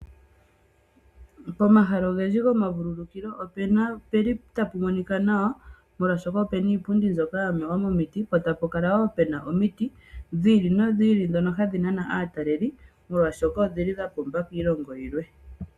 Pomahala ogendji gomavululukilo ohapu kala tapu monika nawa, molwashoka opu na iipundi mbyoka ya mewa momiti, po tapu kala wo omaludhi gomiti dhi ili nodhi ili, ndhoka hadhi nana aataleli oshoka dhimwe dhomudho odhi li dha pumba kiilongo yilwe.